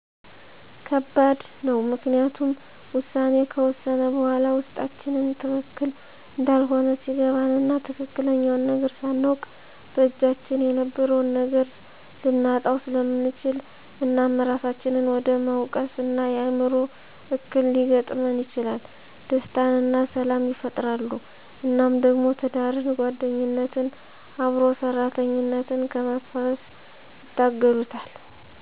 ከባድ ነው ምክንያቱም ውሳኔ ከወሰነ በኋላ ውስጣችን ትክክል እንዳልሆነ ሲገባን እና ትክክለኛውን ነገር ስናውቅ በእጃችን የነበረውን ነገር ልናጣው ስለምንችል እናም እራሳችንን ወደ መውቀስ እና የአዕምሮ እክል ሊገጥመን ይችላል። ደስታንና ሰላም ይፈጥራሉ እናም ደግሞ ትዳርን፣ ጓደኝነትን፣ አብሮ ሠራተኝነትን ከመፍረስ ይታደጉታል